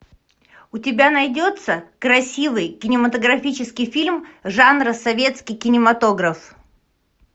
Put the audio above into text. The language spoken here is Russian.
у тебя найдется красивый кинематографический фильм жанра советский кинематограф